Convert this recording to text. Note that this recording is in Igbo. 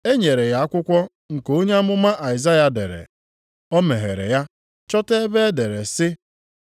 E nyere ya akwụkwọ nke onye amụma Aịzaya dere. O meghere ya chọta ebe e dere sị,